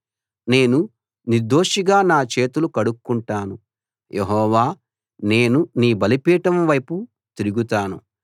నేను నిర్దోషిగా నా చేతులు కడుక్కుంటాను యెహోవా నేను నీ బలిపీఠం వైపు తిరుగుతాను